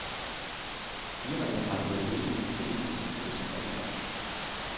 Firmaet har leveret dele til den satellit, som blev sendt op i går.